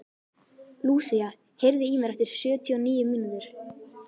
Lúsía, heyrðu í mér eftir sjötíu og níu mínútur.